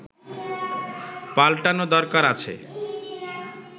পাল্টানো দরকার আছে